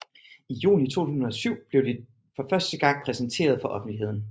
I juni 2007 blev de for første gang præsenteret for offentligheden